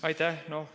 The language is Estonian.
Aitäh!